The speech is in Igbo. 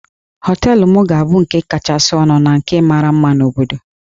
Hóteélụ̀ m ga-abụ nke kachasị ọnụ na nke mara mma na obodo